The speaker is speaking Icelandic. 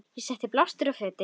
Ég setti blástur á fötin.